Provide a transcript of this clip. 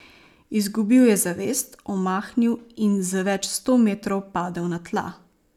Izgubil je zavest, omahnil in z več sto metrov padel na tla.